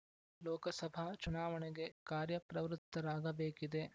ಲೋಕಸಭಾ ಚುನಾವಣೆಗೆ ಕಾರ್ಯಪ್ರವೃತ್ತರಾಗಬೇಕಿದೆ